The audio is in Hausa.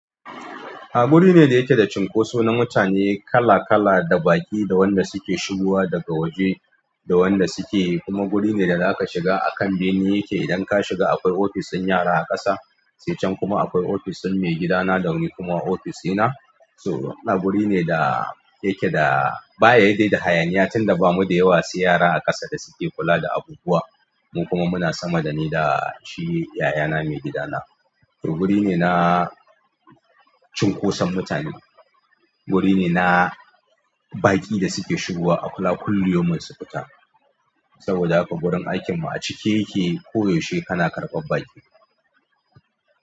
Ahh guri ne da yake da cunkoso na mutane kala kala da baƙi da wanda suke shigowa daga waje da wanda suke kuma guri ne da zaka shiga a kan bene yake. Idan ka shiga akwai ofis din yara a ƙasa, sai can kuma akwai ofis ɗin maigidana da wani kuma ofis ɗina. So, ina guri ne da yake da. Baya dai da hayaniya tunda bamu da yawa sai yara a ƙasa da suke kula da abubuwa. Mu kuma muna sama da ni da shi yayana maigidana. To guri ne na cunkoson mutane, guri ne na baƙi da suke shigowa a kula kulli yaumin su fita. Saboda haka gurin aikin mu a cike yake ko yaushe kana karɓar baƙi.